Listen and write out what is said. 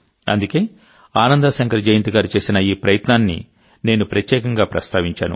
అందుకే ఆనందా శంకర్ జయంత్ గారు చేసిన ఈ ప్రయత్నాన్ని నేను ప్రత్యేకంగా ప్రస్తావించాను